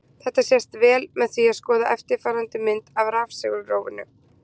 Þetta sést vel með því að skoða eftirfarandi mynd af rafsegulrófinu: